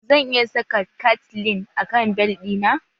Zan iya saka cateleine a kan bel ɗi na?